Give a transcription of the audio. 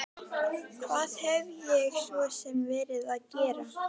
Hvað hef ég svo sem verið að gera?